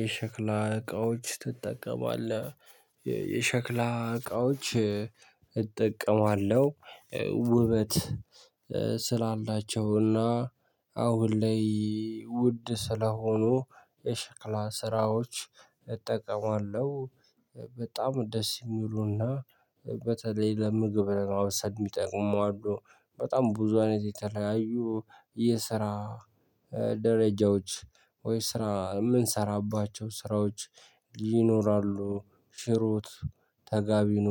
የሸክላ እቃዎች ትጠቀማለህ የሸክላ እቃዎች? እጠቀማለሁ ውበት ስላላቸው እና አሁን ላይ ውድ ስለሆኑ የሽክላ ስራዎች እጠቀማለሁ። በጣም ደስ የሚሉና በተለይ ለምግብ ማብሰል የሚጠቅሙ አሉ በጣም ብዙ አይነት የተለያዩ የስራ ደረጃዎች ወይ ስራ የምንሰራባቸው ስራዎች ይኖራሉ ሽሮ ወጥ ተጋቢኖ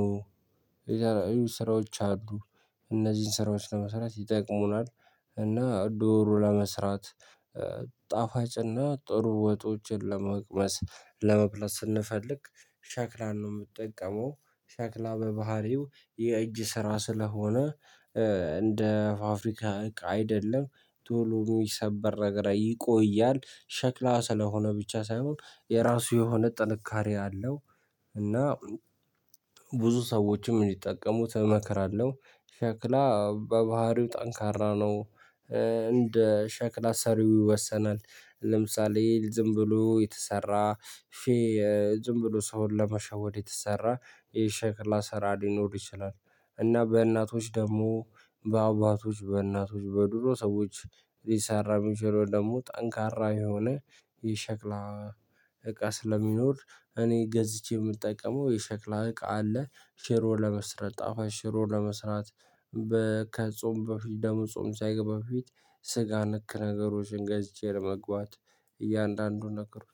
የዛሬ ስራዎች አድሮ እነዚህን ስራዎች ለመስራት ይጠቅሙናል። እና ዶሮ ለመስራት ጣፋጭና ጥሩ ወጦችን ለመቅመስ ለመብላት ስንፈልግ ሻክላን ነው የምትጠቀመው። ሻክላ በባህሪው የእጅ ስራ ስለሆነ እንደ ፋፍሪካ አይደለም ቶሎ የሚሰበር ነገር ይቆያል ሸክላ ስለሆነ ብቻ ሳይሆን የራሱ የሆነ ጥንካሬ አለው። እና ብዙ ሰዎችም እንዲጠቀሙ እመክራለሁ። ሸክላ በባህሪው ጠንካራ ነው። እንደ ሸክላ ሰሪው ይወሰናል። ለምሳሌ ዝም ብሎ የተሰራ ሼህ ዝም ብሎ ሰውን ለመሸወድ የተሰራ ይህ ሸክላ ሰራ ሊኖር ይችላል። እና በእናቶች ደግሞ በአባቶች በእናቶች በድሮ ሰዎች ሊሰራ የሚችለው ደግሞ ጠንካራ የሆነ ይህ እቃ ስለሚኖር እኔ ገዝቼ የምጠቀመው የሸክላ እቃ አለ። ሽሮ ለመስራት ጣፋጭ ሽሮ ለመስራት ከጾም በፊት ደሙ ጾም ሳይገባ በፊት ስጋ ነክ ነገሮችን ገዝቼ ለመግባት እያንዳንዱን ነገሩኝ።